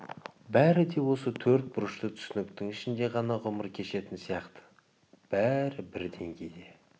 бәрі де осы төрт бұрышты түсініктің ішінде ғана ғұмыр кешетін сияқты бәрі бір деңгейде